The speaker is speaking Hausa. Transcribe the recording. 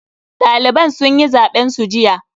Daliban sun yi zaben su jiya.